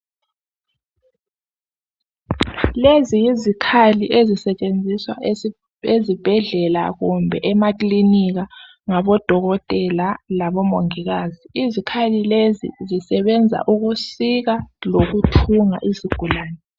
lezi yizikhali ezisetshenziswa ezibhedlela kumbe emaklinika ngabo dokotela labo mongikazi zisebenza ukusika lokuthunga izigulane